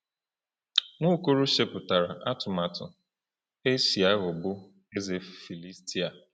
Nwaokolo chepụtara atụmatụ e si aghọgbu eze Filistia.